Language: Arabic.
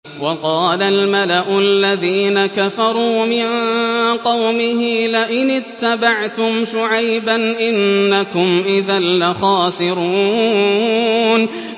وَقَالَ الْمَلَأُ الَّذِينَ كَفَرُوا مِن قَوْمِهِ لَئِنِ اتَّبَعْتُمْ شُعَيْبًا إِنَّكُمْ إِذًا لَّخَاسِرُونَ